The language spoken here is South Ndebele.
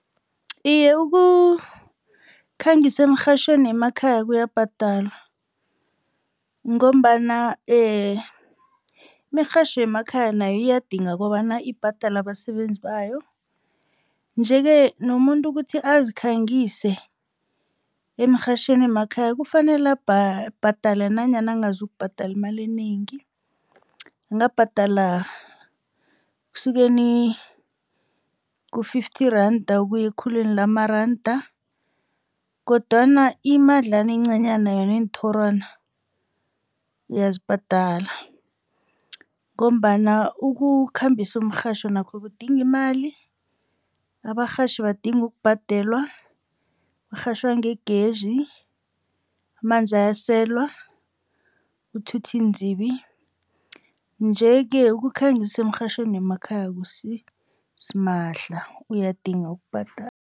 Iye ukukhangisa emirhatjhweni yemakhaya kuyabhadala ngombana imirhatjho yemakhaya nayo iyadinga kobana ibhadale abasebenzi bayo. Nje-ke nomuntu ukuthi azikhangise emirhatjhweni yemakhaya kufanele abhadala nanyana ngazokubhadala imali enengi. Angabhadala ekusukeni ku-fifty randa ukuya ekhulwini lamaranda kodwana imadlana engcanyana yona yeenthorwana uyazibhadala ngombana ukukhambisa umrhatjho nakho kudinga imali. Abarhatjhi badinga ukubhadelwa kurhatjhwa ngegezi, amanzi ayaselwa, ukuthutha iinzibi. Nje-ke ukukhangisa emirhatjhweni yemakhaya akusisimahla uyadinga ukubhadala.